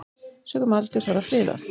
Sökum aldurs var það friðað.